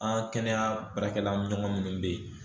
An kɛnɛya baarakɛla ɲɔgɔn minnu bɛ yen